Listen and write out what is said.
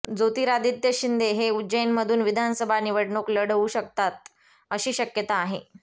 ज्योतिरादित्य शिंदे हे उज्जैनमधून विधानसभा निवडणूक लढवू शकतात अशी शक्यता आहे